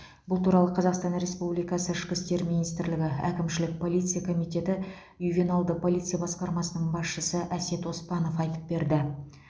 бұл туралы қазақстан республикасы ішкі істер министрлігі әкімшілік полиция комитеті ювеналды полиция басқармасының басшысы әсет оспанов айтып берді